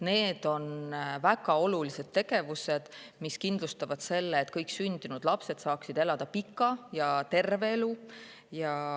Need kõik on väga olulised tegevused, mis kindlustavad selle, et kõik sündinud lapsed saaksid elada pika ja terve elu.